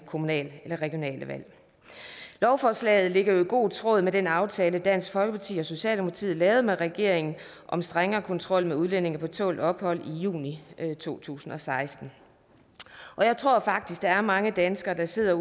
kommunale eller regionale valg lovforslaget ligger jo i god tråd med den aftale dansk folkeparti og socialdemokratiet lavede med regeringen om strengere kontrol med udlændinge på tålt ophold i juni to tusind og seksten jeg tror faktisk der er mange danskere der sidder